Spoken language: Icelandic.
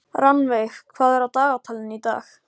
Rannveig, hvað er á dagatalinu í dag?